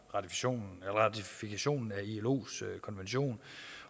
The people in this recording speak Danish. ratifikationen af ilos konvention